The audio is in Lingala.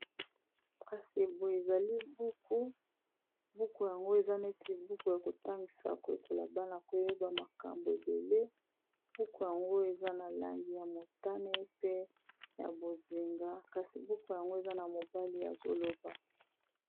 Kasi boye ezali buku buku yango eza neti buku ya kotangisa ko ekola bana koyeba makambo ebele buku yango eza na langi ya motane pe ya bozinga kasi buku yango eza na mobali yazoloba.